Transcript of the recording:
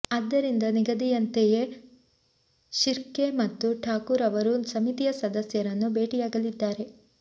ಆದ್ದರಿಂದ ನಿಗದಿಯಂತೆಯೇ ಶಿರ್ಕೆ ಮತ್ತು ಠಾಕೂರ್ ಅವರು ಸಮಿತಿಯ ಸದಸ್ಯ ರನ್ನು ಭೇಟಿಯಾಗಲಿದ್ದಾರೆ